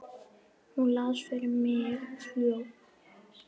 Hún las fyrir mig ljóð.